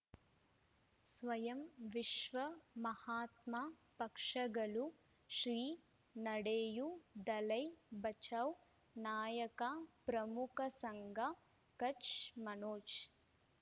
ಸ್ವಯಂ ವಿಶ್ವ ಮಹಾತ್ಮ ಪಕ್ಷಗಳು ಶ್ರೀ ನಡೆಯೂ ದಲೈ ಬಚೌ ನಾಯಕ ಪ್ರಮುಖ ಸಂಘ ಕಚ್ ಮನೋಜ್